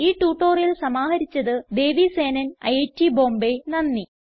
ഈ ട്യൂട്ടോറിയൽ സമാഹരിച്ചത് ദേവി സേനൻ ഐറ്റ് ബോംബേ നന്ദി